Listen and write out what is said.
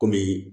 Kɔmi